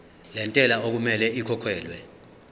lentela okumele ikhokhekhelwe